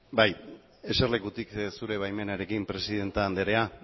bai eserlekutik zure baimenarekin presidente andrea